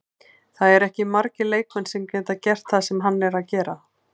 Það eru ekki margir leikmenn sem geta gert það sem hann er að gera.